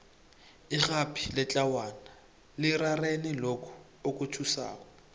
irhabi letlawana lirarene lokhu okuthusako